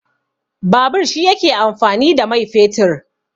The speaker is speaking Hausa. Babur shi yake amfani da mai fetur.